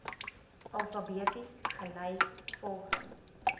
alfabeties gelys volgens